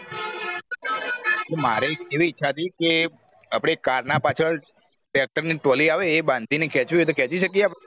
મારે એક એવી ઈચ્છા હતી કે અપડે car ના પાછળ tractor ની trolley આવે અ બાંધી ને ખેચવી હોય તો ખેચી શકયી યયે આપડે